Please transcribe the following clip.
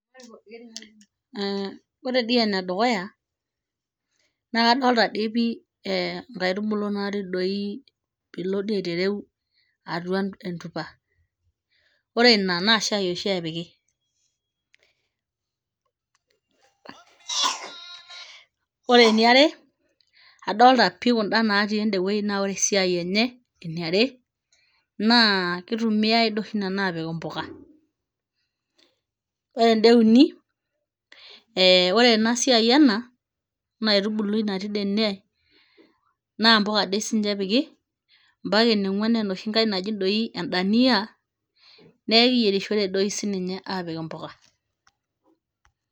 Eeh ore dii enedukuya naa kadolita dii pii eh inkaitubulu natii doi piilo dii aitereu atua entupa ore ina naa shai oshi epiki ore eniare adolta pii kunda natii endewuei naa ore esiai enye eniare naa kitumiae dio oshi nana apik impuka ore enda euni eh ore ena siai ena, ena aitubului natii dee ene naa impuka ade sinche epiki mpaka eniong'uan enoshi nkae naji doi endaniyia nekiyierishore doi sininye apik impuka.